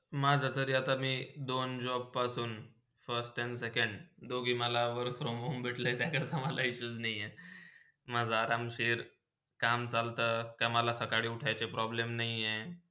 माझा तर आता मी दोन job पासून first and second करोमवर भेटला म्हणून त्याकरता मला येताच नय हे. माझा आरामशीर काम चलता, कामाला सकाळी उठायची problem नय हय.